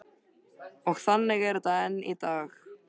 Og þannig er þetta enn í dag.